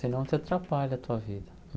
Senão você atrapalha a tua vida.